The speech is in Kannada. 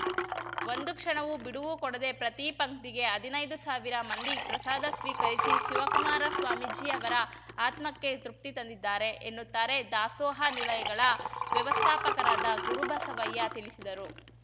ಒಂದು ಕ್ಷಣವೂ ಬಿಡುವು ಕೊಡದೆ ಪ್ರತಿ ಪಂಕ್ತಿಗೆ ಹದಿನೈದು ಸಾವಿರ ಮಂದಿ ಪ್ರಸಾದ ಸ್ವೀಕರಿಸಿ ಶಿವಕುಮಾರ ಸ್ವಾಮೀಜಿ ಅವರ ಆತ್ಮಕ್ಕೆ ತೃಪ್ತಿ ತಂದಿದ್ದಾರೆ ಎನ್ನುತ್ತಾರೆ ದಾಸೋಹ ನಿಲಯಗಳ ವ್ಯವಸ್ಥಾಪಕರಾದ ಗುರುಬಸವಯ್ಯ ತಿಳಿಸಿದರು